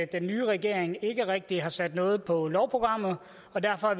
den nye regering ikke rigtig har sat noget på lovprogrammet og derfor har